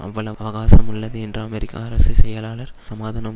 அவ்வளவு அவகாசம் உள்ளது என்று அமெரிக்க அரசு செயலாளர் சமாதானம்